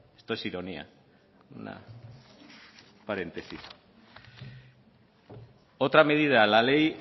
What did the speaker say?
esto es ironía un paréntesis otra medida la ley